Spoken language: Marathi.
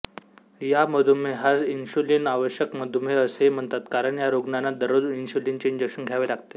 या मधुमेहास इन्शुलिन आवश्यक मधुमेह असेही म्हणतात कारण या रुग्णाना दररोज इन्शुलिनचे इंजेक्शन घ्यावे लागते